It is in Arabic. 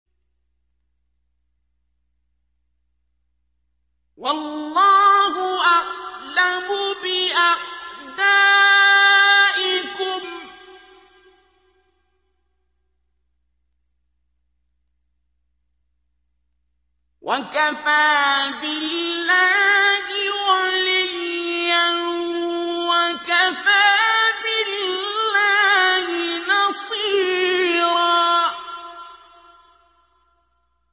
وَاللَّهُ أَعْلَمُ بِأَعْدَائِكُمْ ۚ وَكَفَىٰ بِاللَّهِ وَلِيًّا وَكَفَىٰ بِاللَّهِ نَصِيرًا